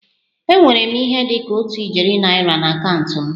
Enwere m ihe dị ka otu ijeri naira na akaụntụ m